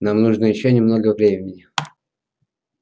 нам нужно ещё немного времени